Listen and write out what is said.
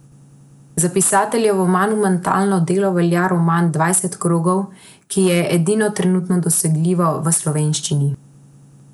Za pisateljevo monumentalno delo velja roman Dvanajst krogov, ki je edino trenutno dosegljivo v slovenščini.